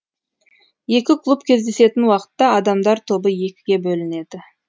екі клуб кездесетін уақытта адамдар тобы екіге бөлінеді